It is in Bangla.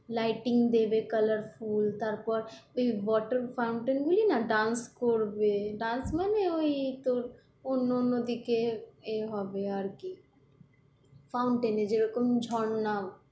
lighting দেবে colourful তারপর ওই water fountain গুলি না dance করবে dance মানে ওই তোর অন্য অন্য দিকে এ হবে আর কি fountain এ যেরকম ঝর্না,